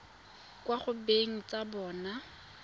kwa go beng ba tsona